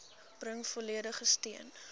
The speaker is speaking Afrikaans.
bring volledige steun